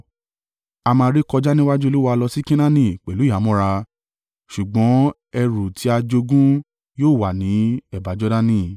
A máa rékọjá níwájú Olúwa lọ sí Kenaani pẹ̀lú ìhámọ́ra, ṣùgbọ́n ẹrù tí a jogún yóò wà ní ẹ̀bá Jordani.”